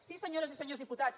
sí senyores i senyors diputats